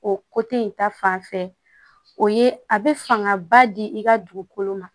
O in ta fanfɛ o ye a be fangaba di i ka dugukolo ma